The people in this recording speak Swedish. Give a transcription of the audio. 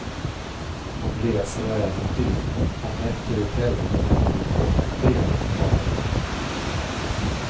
Om resor och äventyr, om nätter i tält och nätter i tågkupéer talade de.